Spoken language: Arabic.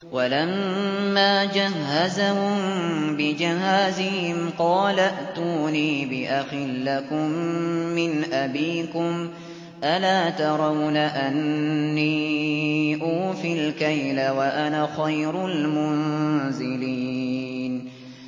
وَلَمَّا جَهَّزَهُم بِجَهَازِهِمْ قَالَ ائْتُونِي بِأَخٍ لَّكُم مِّنْ أَبِيكُمْ ۚ أَلَا تَرَوْنَ أَنِّي أُوفِي الْكَيْلَ وَأَنَا خَيْرُ الْمُنزِلِينَ